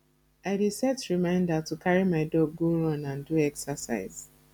i dey set reminder to carry my dog go run and do exercise